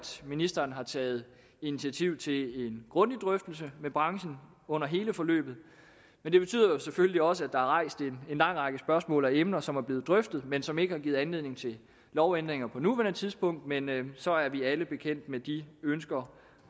ministeren har taget initiativ til en grundig drøftelse med branchen under hele forløbet det betyder selvfølgelig også at der er rejst en lang række spørgsmål og emner som er blevet drøftet men som ikke har givet anledning til lovændringer på nuværende tidspunkt men så er vi alle bekendt med de ønsker